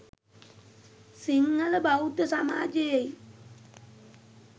සිංහල බෞද්ධ සමාජයෙයි